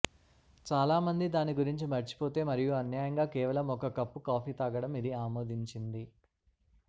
చాలా మంది దాని గురించి మర్చిపోతే మరియు అన్యాయంగా కేవలం ఒక కప్పు కాఫీ తాగడం ఇది ఆమోదించింది